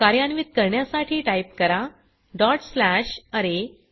कार्यान्वीत करण्यासाठी टाइप करा डॉट स्लॅश अरे